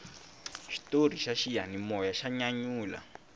xitori xa xiyanimoya xa nyanyula